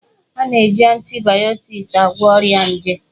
A ga-eji antibayọtiki agwọ ọrịa nje